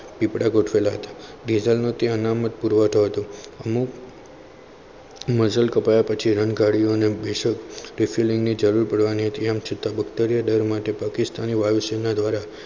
પીપળા ગોઠવેલા હતા મેજરના તે અનામત પુરવઠો હતો અમુક nozzle કપડા પછી રન ગાડીઓ refilling ની જરૂર પડવાની હતી. એમ છતાં બ્રિગેડીયરો દ્વારા પાકિસ્તાની વાયુસેના દ્વારા